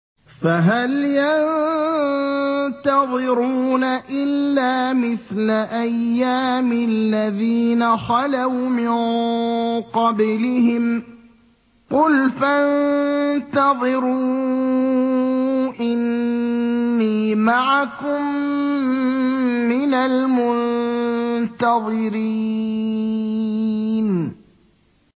فَهَلْ يَنتَظِرُونَ إِلَّا مِثْلَ أَيَّامِ الَّذِينَ خَلَوْا مِن قَبْلِهِمْ ۚ قُلْ فَانتَظِرُوا إِنِّي مَعَكُم مِّنَ الْمُنتَظِرِينَ